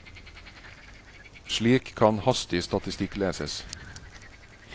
Slik kan hastig statistikk leses.